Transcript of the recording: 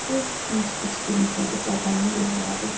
Qız bic-bic gülümsədi, bədənini yırğaladı.